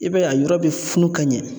I b'a ye a yɔrɔ be funu ka ɲɛ